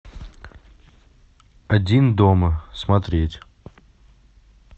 один дома смотреть